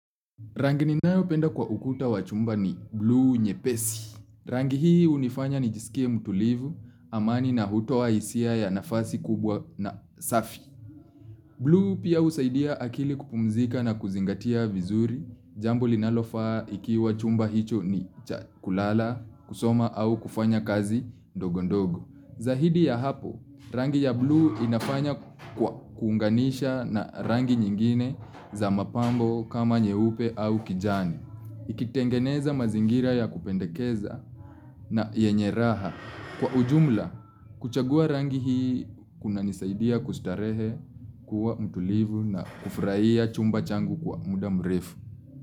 Rangi ni nayo penda kwa ukuta wa chumba ni blue nyepesi. Rangi hii unifanya nijisikie mutulivu, amani na hutoa isia ya nafasi kubwa na safi. Blue pia usaidia akili kupumzika na kuzingatia vizuri, jambo linalofa ikiwa chumba hicho ni cha kulala, kusoma au kufanya kazi ndogondogo. Za hidi ya hapo, rangi ya blue inafanya kwa kuunganisha na rangi nyingine za mapambo kama nyeupe au kijani. Ikitengeneza mazingira ya kupendekeza na yenye raha. Kwa ujumla, kuchagua rangi hii kuna nisaidia kustarehe kuwa mtulivu na kufraia chumba changu kwa muda mrefu.